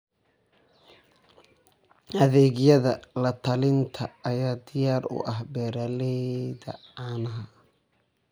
Adeegyada la-talinta ayaa diyaar u ah beeralayda caanaha.